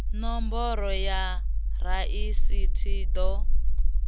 nomboro ya rasithi i ḓo